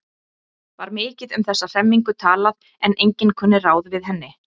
Var mikið um þessa hremmingu talað en enginn kunni ráð við henni.